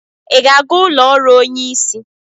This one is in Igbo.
Ị ga-aga ụlọ ọrụ onyeisi?